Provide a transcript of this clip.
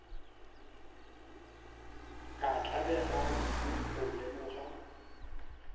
ka tlabega kudu go lemoga